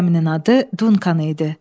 Gəminin adı Dunkan idi.